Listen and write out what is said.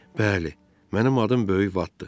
Bəli, mənim adım Böyük Vatdır.